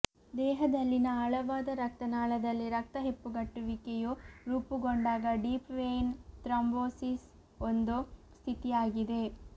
ದೇಹದಲ್ಲಿನ ಆಳವಾದ ರಕ್ತನಾಳದಲ್ಲಿ ರಕ್ತ ಹೆಪ್ಪುಗಟ್ಟುವಿಕೆಯು ರೂಪುಗೊಂಡಾಗ ಡೀಪ್ ವೇಯ್ನ್ ಥ್ರಂಬೋಸಿಸ್ ಒಂದು ಸ್ಥಿತಿಯಾಗಿದೆ